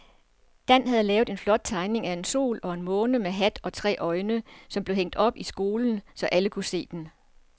Dan havde lavet en flot tegning af en sol og en måne med hat og tre øjne, som blev hængt op i skolen, så alle kunne se den.